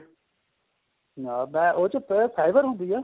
ਮੈਂ ਉਹ ਚ fiber ਹੁੰਦੀ ਏ